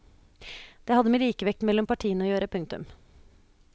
Det hadde med likevekten mellom partiene å gjøre. punktum